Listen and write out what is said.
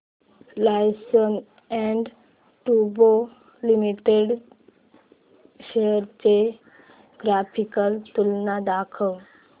Larsen and टुर्बो limited shares ची graphical तुलना दाखव